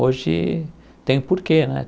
Hoje tem porquê, né?